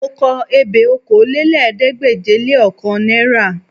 Mò ń kọ ebè okòólélẹ́ẹ̀ẹ́dégbèje-le-ọ̀kan náírà